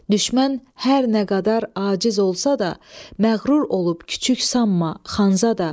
Düşmən hər nə qədər aciz olsa da, məğrur olub küçük sanma, Xanzadə.